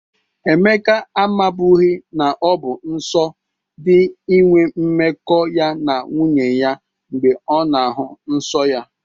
Emeka amabụghi na ọ bụ nsọ dị inwe mmekọ ya na nwunye ya mgbe ọ na-ahụ nsọ ya.